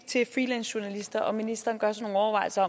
til freelancejournalister om ministeren gør sig nogle overvejelser